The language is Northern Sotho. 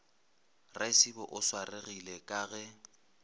raisibe o swaregile ka ge